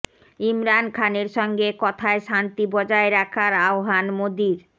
ইমরান খানের সঙ্গে কথায় শান্তি বজায় রাখার আহ্বান মোদির